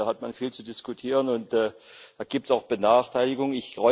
Denn da hat man viel zu diskutieren, und da gibt es auch Benachteiligungen.